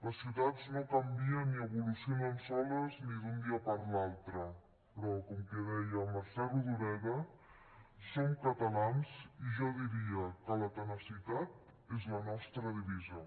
les ciutats no canvien ni evolucionen soles ni d’un dia per l’altre però com deia mercè rodoreda som catalans i jo diria que la tenacitat és la nostra divisa